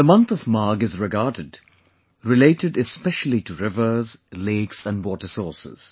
The month of Magh is regarded related especially to rivers, lakes and water sources